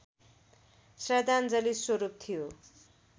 श्रद्धान्जलि स्वरूप थियो